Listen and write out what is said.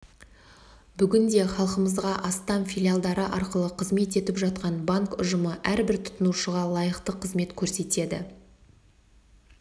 бүгінде халқымызға астам филиалдары арқылы қызмет етіп жатқан банк ұжымы әрбір тұтынушыға лайықты қызмет көрсетеді